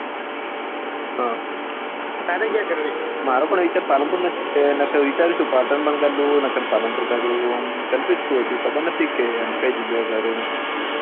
તારે ક્યાં કરવી છે મારો પણ વિચાર પાલનપુર નો જ છે નકર વિચારશુ પાટણ માં કરું નકર પાલનપુર કરું confuse છું હજી ખબર નથી કે કઈ જગ્યા એ કરું